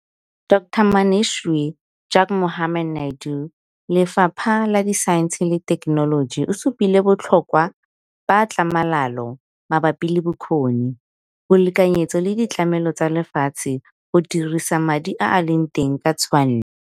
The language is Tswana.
Dr Maneshree Jugmohan-Naidu, Lefapha la Disaense le Thekenoloji, o supile botlhokwa ba tlhamalalo mabapi le bokgoni, bolekanyetso le ditlamelo tsa lefatshe go dirisa madi a a leng teng ka tshwanno.